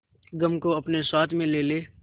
गम को अपने साथ में ले ले